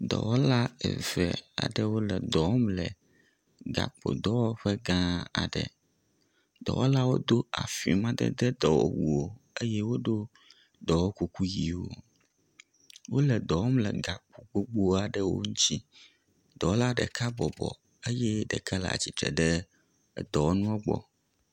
Dɔwɔla eve aɖewo le dɔ wɔm le gakpodɔwɔƒe gã aɖe. Dɔwɔlawo do ….